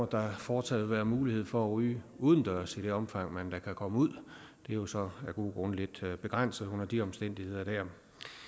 der fortsat vil være mulighed for at ryge udendørs i det omfang man da kan komme ud det jo så af gode grunde lidt begrænset under de omstændigheder